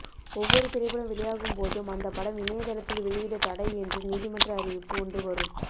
ஒவ்வொரு திரைப்படம் வெளியாகும்போதும் அந்த படம் இணையதளத்தில் வெளியிட தடை என்று நீதிமன்ற அறிவிப்பு ஒன்று வரும்